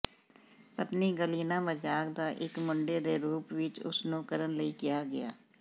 ਪਤਨੀ ਗਾਲੀਨਾ ਮਜ਼ਾਕ ਦਾ ਇੱਕ ਮੁੰਡੇ ਦੇ ਰੂਪ ਵਿੱਚ ਉਸ ਨੂੰ ਕਰਨ ਲਈ ਕਿਹਾ ਗਿਆ